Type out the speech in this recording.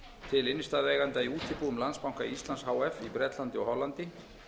til innstæðueigenda í útibúum landsbanka íslands h f í bretlandi og hollandi